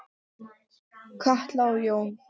Katla og Jón.